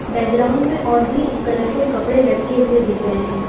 Background में और भी कलरफुल कपड़े लटके हुए दिख रहे हैं।